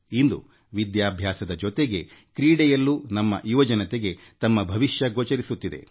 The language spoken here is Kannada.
ಇಂದು ತಮ್ಮ ವಿದ್ಯಾಭ್ಯಾಸದ ಜೊತೆಗೆ ಕ್ರೀಡೆಯಲ್ಲೂ ಯುವಜನರು ತಮ್ಮ ಭವಿಷ್ಯ ಕಾಣುತ್ತಿದ್ದಾರೆ